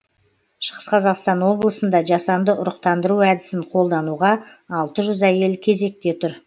шығыс қазақстан облысында жасанды ұрықтандыру әдісін қолдануға алты жүз әйел кезекте тұр